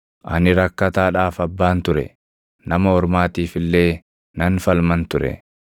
Ani rakkataadhaaf abbaan ture; nama ormaatiif illee nan falman ture.